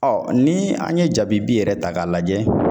ni an ye jabibi yɛrɛ ta k'a lajɛ